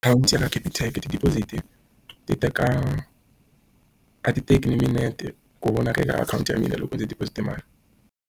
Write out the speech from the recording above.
Akhawunti ya Capitec ti-deposit ti teka, a ti teki ni minete ku vona ka ka akhawunti ya mina loko ndzi deposit-e mali.